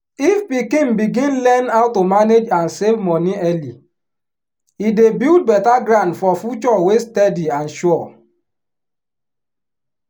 if pikin begin learn how to manage and save money early e dey build better ground for future wey steady and sure.